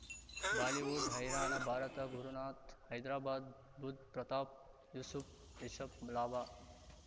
Bollywood ಹೈರಾಣ ಭಾರತ ಗುರುನಾಥ್ ಹೈದ್ರಾಬಾದ್ ಬುಧ್ ಪ್ರತಾಪ್ ಯೂಸುಫ್ ರಿಷಬ್ ಲಾಭ